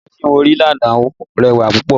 Adájọ́ tí mo rí lánàá rẹwà púpọ̀